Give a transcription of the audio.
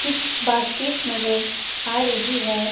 कुछ बास्केट्स नजर आ रही है।